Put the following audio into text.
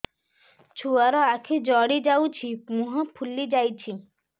ଛୁଆର ଆଖି ଜଡ଼ି ଯାଉଛି ମୁହଁ ଫୁଲି ଯାଇଛି